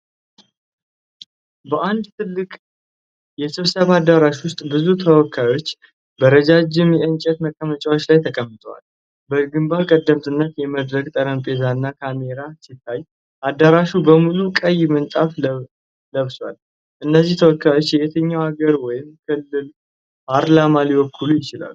በአንድ ትልቅ የስብሰባ አዳራሽ ውስጥ፣ ብዙ ተወካዮች በረዣዥም የእንጨት መቀመጫዎች ላይ ተቀምጠዋል። በግንባር ቀደምትነት የመድረክ ጠረጴዛና ካሜራ ሲታይ፣ አዳራሹ በሙሉ ቀይ ምንጣፍ ለብሷል። እነዚህ ተወካዮች የትኛውን አገር ወይም ክልል ፓርላማ ሊወክሉ ይችላሉ?